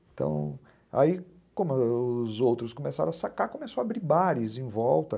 Então, aí, como os outros começaram a sacar, começou a abrir bares em volta.